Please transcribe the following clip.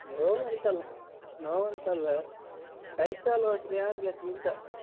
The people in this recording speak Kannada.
ನೋವಂತ ಅಲ್ಲ ನೋವಂತ ಅಲ್ಲ.ಕೈ ಕಾಲ್ ಹೋದ್ರೆ ಯಾರ್ ಗತಿ ಅಂತ.